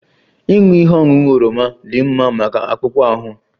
Ịṅụ ihe ọṅụṅụ oroma dị mma maka akpụkpọ ahụ